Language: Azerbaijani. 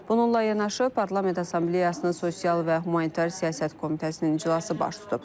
Bununla yanaşı Parlament Assambleyasının sosial və humanitar siyasət komitəsinin iclası baş tutub.